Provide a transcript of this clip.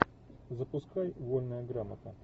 запускай вольная грамота